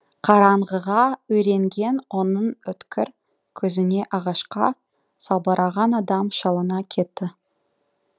қараңғыға үйренген оның өткір көзіне ағашқа салбыраған адам шалына кетті